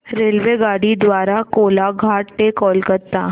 रेल्वेगाडी द्वारे कोलाघाट ते कोलकता